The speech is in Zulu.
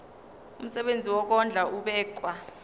umsebenzi wokondla ubekwa